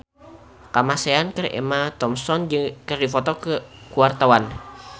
Kamasean jeung Emma Thompson keur dipoto ku wartawan